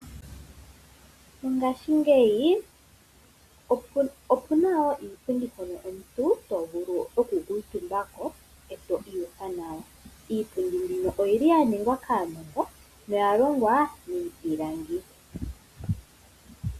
Mongaashingeyi opuna wo iipundi mpono omuntu tovulu okukuutumbako eto iyuvitha nawa , iipundi mbino oyili ya ningwa kaanongo noya longwa miipilangi.